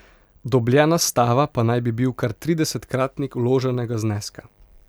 Dobljena stava pa naj bi bil kar tridesetkratnik vloženega zneska.